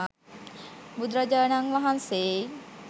බුදුරජාණන් වහන්සේයි.